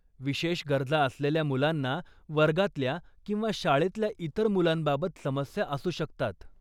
विशेष गरजा असलेल्या मुलांना वर्गातल्या किंवा शाळेतल्या इतर मुलांबाबत समस्या असू शकतात.